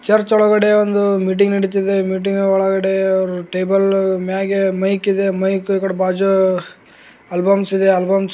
church ಒಳಗಡೆ ಒಂದು meeting ನಡಿತಾ ಇದೆ ಮೀಟಿಂಗ್ ಒಳಗಡೆ ಟೆಬಲ್ ಮ್ಯಾಗೆ ಮೈಕ್ ಇದೆ ಮೈಕ್ ಇಕಡಿ ಬಾಜು ಆಲ್ಬಮ್ಸ್ ಇದೆ ಆಲ್ಬಮ್ಸ್ --